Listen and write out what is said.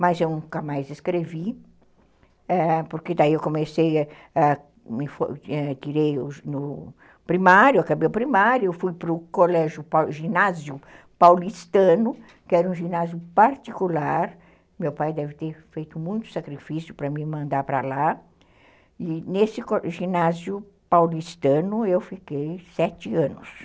mas eu nunca mais escrevi, ãh, porque daí eu comecei, tirei o primário, acabei o primário, fui para o ginásio paulistano, que era um ginásio particular, meu pai deve ter feito muito sacrifício para me mandar para lá, e nesse ginásio paulistano eu fiquei sete anos.